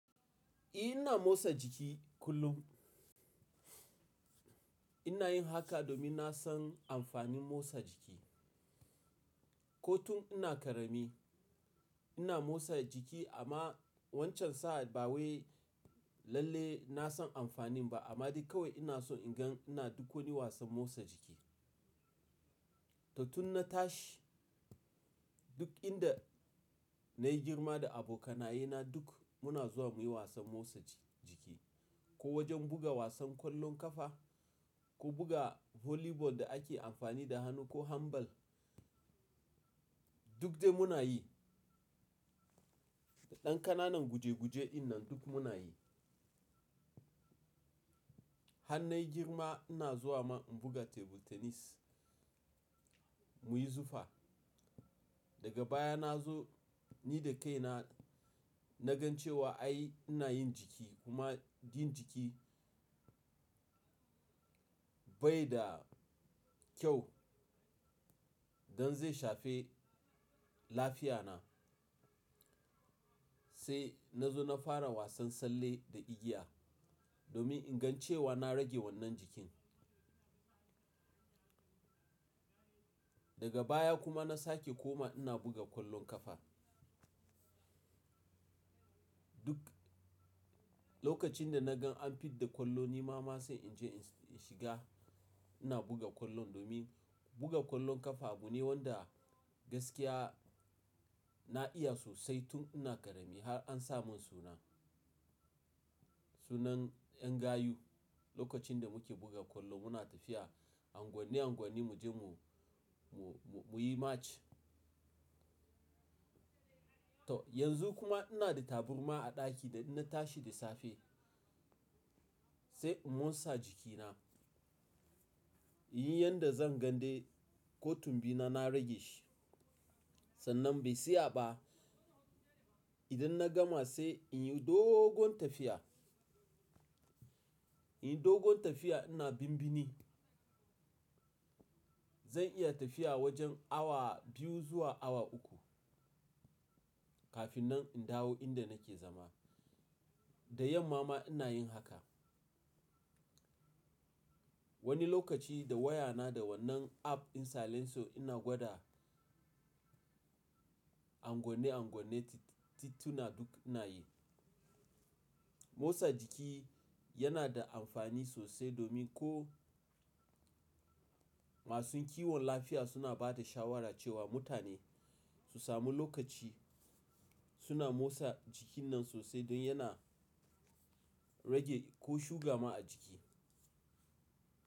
Eh! Na motsa jiki kullum. Ina yin haka domin na san amfanin motsa jiki. Ko tun ina ƙarami ina motsa jiki amma wancan sa'ad ba wai lalle na san amfanin ba amma duk kawai ina so in gan ina duk wani wasan motsa jiki. To tun na tashi duk inda na yi girma da abokanaye na duk muna zuwa muyi wasan motsa jiki. Ko wajen buga wasan kwallon ƙafa ko buga volleyball da ake amfani da hannu ko handball duk dai muna yi. Da ɗan ƙanana guje guje dinnan duk muna yi. Han na yi girma ina zuwa ma in buga table tennis muyi zufa. Daga baya na zo ni da kaina na gan cewa ai ina yin jiki kuma yin jiki bai da kyau gan zai shafe lafiya na. Sai na zo na fara wasan tsalle da igiya domin in gan cewa na rage wannan jikin. Daga baya kuma na sake koma ina buga kwallon ƙafa. Duk lokacin da na gan an fid da kwallo ni ma ma sai in je in shiga ina buga kwallon domin buga kwallon ƙafa abu ne wanda gaskiya na iya sosai tun ina ƙarami har an sa mun suna, sunan ƴan gayu. Lokacin da muke buga kwallo muna tafiya angwonne angwonne mu je mu, mu, mu, muyi march. To yanzu kuma ina da taburma a ɗaki da na tashi da safe sai in motsa jikina. In yi yanda zan gande ko tun bi na, na rage shi. Sannan bai siya ba idan na gama sai in yi dogon tafiya. In yi dogon tafiya ina bimbini. Zan iya tafiya wajen awa biyu zuwa awa uku kafinnan in dawo inda nake zama. Da yamma ma ina yin haka. Wani lokaci da wayana da wannan app in silence ina gwada angwonne angwonne tituna duk ina yi. Motsa jiki yana da amfani sosai domin ko masu kiwon lafiya suna ba da shawara cewa mutane su sami lokaci suna motsa jikin nan sosai don yana rage ko shuga ma a jiki.